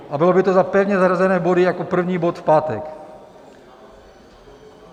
A bylo by to za pevně zařazené body jako první bod v pátek.